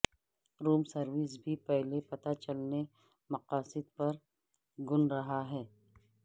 روم service بھی پہلے پتہ چلنے مقاصد پر گن رہا ہے